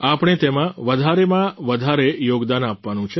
આપણે તેમાં વધારેમાં વધારે યોગદાન આપવાનું છે